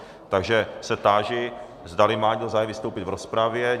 Takže se táži, zdali má někdo zájem vystoupit v rozpravě.